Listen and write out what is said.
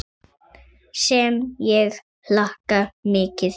Sem ég hlakka mikið til.